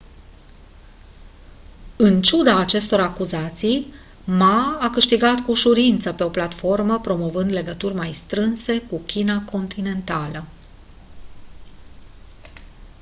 în ciuda acestor acuzații ma a câștigat cu ușurință pe o platformă promovând legături mai strânse cu china continentală